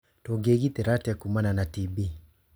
Tũngĩĩgitĩra atĩa kuumana na TB?